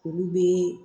Olu bɛ